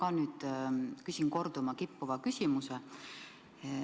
Minagi küsin nüüd korduma kippuva küsimuse.